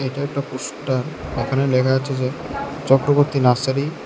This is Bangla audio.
এটা একটা পোস্টার এখানে লেখা আছে যে চক্রবর্তী নার্সারি।